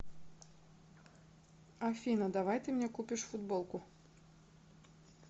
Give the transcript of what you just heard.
афина давай ты мне купишь футболку